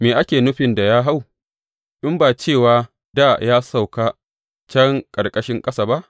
Me ake nufin da ya hau, in ba cewa dā ya sauka can ƙarƙashin ƙasa ba?